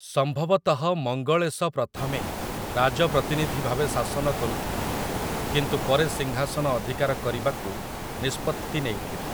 ସମ୍ଭବତଃ ମଙ୍ଗଳେଶ ପ୍ରଥମେ ରାଜପ୍ରତିନିଧି ଭାବେ ଶାସନ କରୁଥିଲେ, କିନ୍ତୁ ପରେ ସିଂହାସନ ଅଧିକାର କରିବାକୁ ନିଷ୍ପତ୍ତି ନେଇଥିଲେ ।